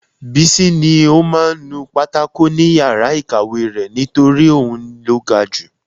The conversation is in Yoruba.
Bísí ní ó máa ń nu pátákò ni yàrá ìkàwé rẹ̀ nítorí òun ló ga ju